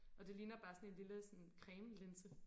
Og det ligner bare sådan en lille sådan cremelinse